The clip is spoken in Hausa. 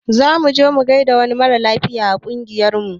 Zamu je mu gaida wani mara lafiya a ƙungiyar mu